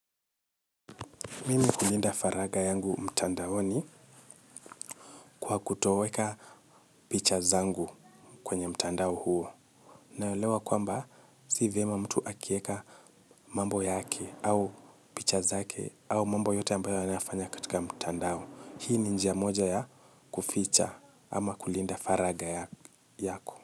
Mimi hulinda faragha yangu mtandaoni kwa kutoweka picha zangu kwenye mtandao huo. Naelewa kwamba si vyema mtu akieka mambo yake au picha zake au mambo yote ambayo anafanya katika mtandao. Hii ni njia moja ya kuficha ama kulinda faragha yako.